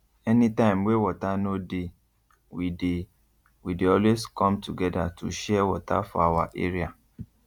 any time wey water no dey we dey we dey always come together to share water for our area